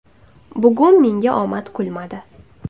Bugun menga omad kulmadi.